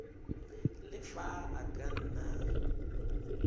le fa e ka nna